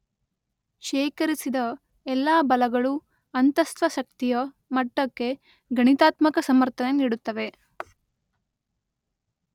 ಶೇಖರಿಸಿದ ಎಲ್ಲಾ ಬಲಗಳು ಅಂತಸ್ಥ ಶಕ್ತಿಯ ಮಟ್ಟಕ್ಕೆ ಗಣಿತಾತ್ಮಕ ಸಮರ್ಥನೆ ನೀಡುತ್ತವೆ.